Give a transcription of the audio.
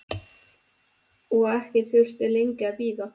Og ekki þurfti lengi að bíða.